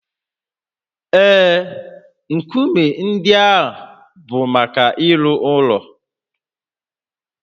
Ee, nkume ndị a bụ maka ịrụ ụlọ